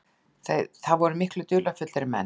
Það voru miklu dularfyllri menn.